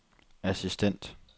assistent